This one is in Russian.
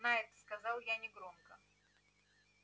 найд сказал я негромко